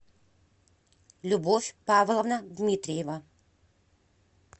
любовь павловна дмитриева